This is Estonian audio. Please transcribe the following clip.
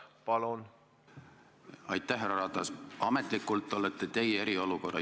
13 strateegilist partnerit ei ole lihtsalt 13 organisatsiooni.